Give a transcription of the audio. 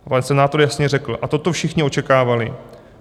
Pan senátor jasně řekl: "A toto všichni očekávali.